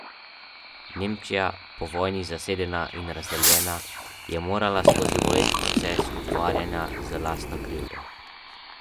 Nemčija, po vojni zasedena in razdeljena, je morala skozi boleč proces ukvarjanja z lastno krivdo.